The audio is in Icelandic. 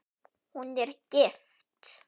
Hún er gift.